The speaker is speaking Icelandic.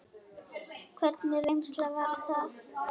Hvernig reynsla var það?